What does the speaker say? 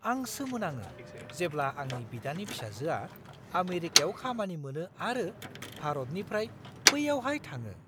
आं सोमोनाङो जेब्ला आंनि बिदानि फिसाजोआ आमेरिकायाव खामानि मोनो आरो भारतनिफ्राय बैयावहाय थाङो!